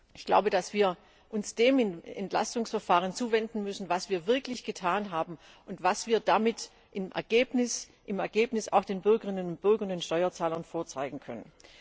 Ich glaube, dass wir uns dem Entlastungsverfahren zuwenden müssen, und dem, was wir wirklich getan haben und was wir damit im Ergebnis auch den Bürgerinnen und Bürgern und Steuerzahlern vorzeigen können.